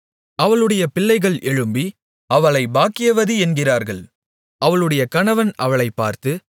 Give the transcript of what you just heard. அவளுடைய பிள்ளைகள் எழும்பி அவளை பாக்கியவதி என்கிறார்கள் அவளுடைய கணவன் அவளைப்பார்த்து